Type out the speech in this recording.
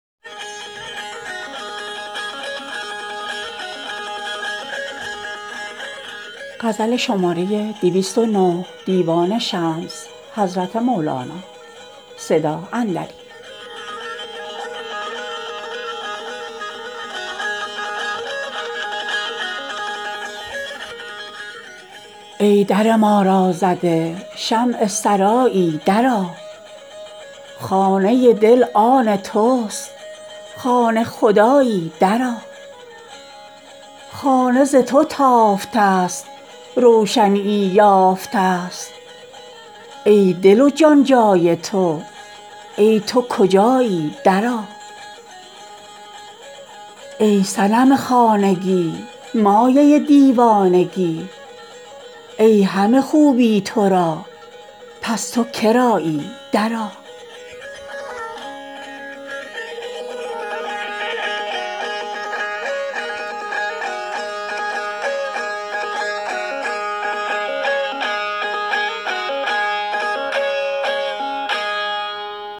ای در ما را زده شمع سرایی درآ خانه دل آن توست خانه خدایی درآ خانه ز تو تافته ست روشنیی یافته ست ای دل و جان جای تو ای تو کجایی درآ ای صنم خانگی مایه دیوانگی ای همه خوبی تو را پس تو کرایی درآ